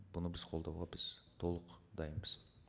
бұны біз қолдауға біз толық дайынбыз